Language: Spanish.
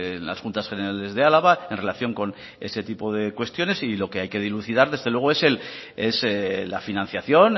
en las juntas generales de álava en relación con ese tipo de cuestiones y lo que hay que dilucidar desde luego es la financiación